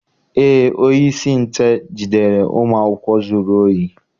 Eé, onyeisi nche jidere ụmụ akwụkwọ zuru ohi